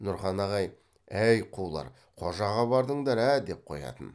нұрхан ағай әй қулар қожаға бардыңдар ә ә деп қоятын